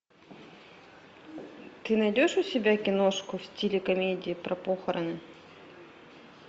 ты найдешь у себя киношку в стиле комедии про похороны